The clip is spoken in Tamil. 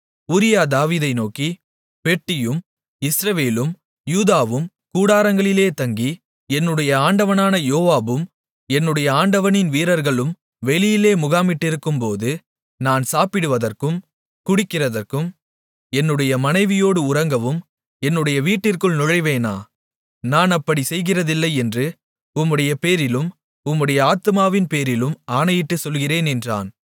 உரியா தாவீதை நோக்கி பெட்டியும் இஸ்ரவேலும் யூதாவும் கூடாரங்களிலே தங்கி என்னுடைய ஆண்டவனான யோவாபும் என்னுடைய ஆண்டவனின் வீரர்களும் வெளியிலே முகாமிட்டிருக்கும்போது நான் சாப்பிடுவதற்கும் குடிக்கிறதற்கும் என்னுடைய மனைவியோடு உறங்கவும் என்னுடைய வீட்டிற்குள் நுழைவேனா நான் அப்படிச் செய்கிறதில்லை என்று உம்முடையபேரிலும் உம்முடைய ஆத்துமாவின்பேரிலும் ஆணையிட்டுச் சொல்லுகிறேன் என்றான்